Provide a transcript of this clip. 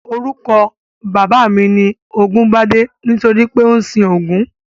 Orúkọ bàbá mi ni Ògúngbadé nítorí pé ó ń sin Ògún